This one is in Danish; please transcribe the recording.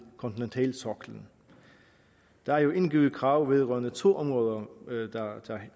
kontinentalsoklen der er indgivet krav vedrørende to områder der